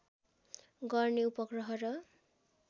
गर्ने उपग्रह र